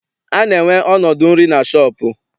A na-enwe ọnọdụ nri na shọọpụ.